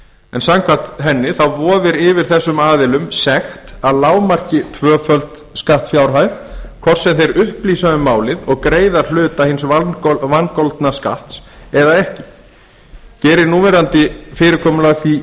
en samkvæmt þeim vofir yfir þessum aðilum sekt að lágmarki tvöföld skattfjárhæð hvort sem þeir upplýsa um málið og greiða hluta hins vangoldna skatts eða ekki gerir núverandi fyrirkomulag því